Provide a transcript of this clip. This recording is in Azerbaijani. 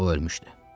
O, ölmüşdü.